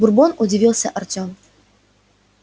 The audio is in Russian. бурбон удивился артём